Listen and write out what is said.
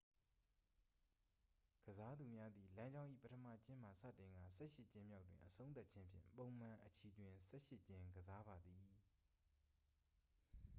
ကစားသူများသည် လမ်းကြောင်း၏ပထမကျင်းမှစတင်ကာ ဆယ့်ရှစ်ကျင်းမြောက်တွင် အဆုံးသတ်ခြင်းဖြင့် ပုံမှန်အချီတွင် ဆယ့်ရှစ်ကျင်းကစားပါသည်